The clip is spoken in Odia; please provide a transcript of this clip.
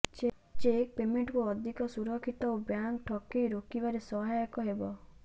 ଚେକ୍ ପେମେଣ୍ଟକୁ ଅଧିକ ସୁରକ୍ଷିତ ଓ ବ୍ୟାଙ୍କ ଠକେଇ ରୋକିବାରେ ସହାୟକ ହେବ